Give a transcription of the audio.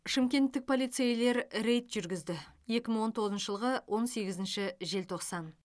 шымкенттік полицейлер рейд жүргізді екі мың он тоғызыншы жылғы он сегізінші желтоқсан